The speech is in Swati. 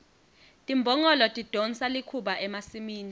timbongolo tidonsa likhuba emasimini